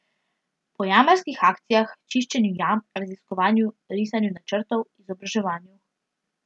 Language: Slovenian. Po jamarskih akcijah, čiščenju jam, raziskovanju, risanju načrtov, izobraževanju...